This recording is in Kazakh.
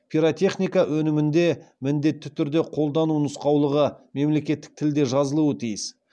пиротехника өнімінде міндетті түрде қолдану нұсқаулығы мемлекеттік тілде жазылуы тиіс